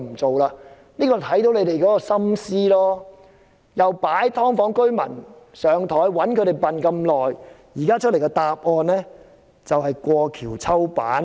這裏就看到政府的心思，擺"劏房"居民"上檯"，長期愚弄他們，現時給大家的答案就是"過橋抽板"。